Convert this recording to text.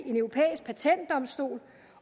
en europæisk patentdomstol